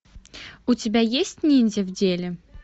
у тебя есть ниндзя в деле